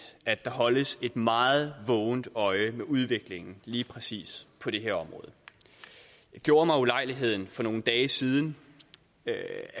at der holdes et meget vågent øje med udviklingen lige præcis på det her område jeg gjorde mig ulejligheden for nogle dage siden at